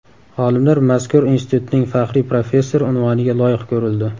Olimlar mazkur institutning faxriy professori unvoniga loyiq ko‘rildi.